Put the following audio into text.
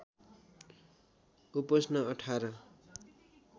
उपोष्ण १८